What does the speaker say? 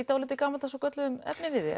dálítið gamaldags og gölluðum efniviði